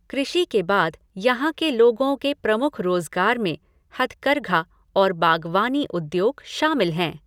कृषि के बाद यहाँ के लोगों के प्रमुख रोज़गार में हथकरघा और बागवानी उद्योग शामिल हैं।